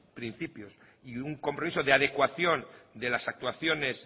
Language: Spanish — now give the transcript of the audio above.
principios y un compromiso de adecuación de las actuaciones